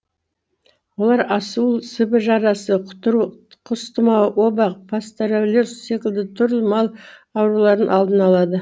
олар асуыл сібір жарасы құтыру құс тұмауы оба пастереллез секілді түрлі мал ауруларының алдын алады